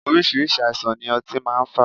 Oríṣiríṣi àìsàn ni ọtí máa ń fà.